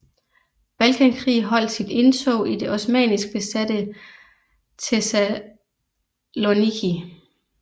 Balkankrig holdt sit indtog i det osmannisk besatte Thessaloniki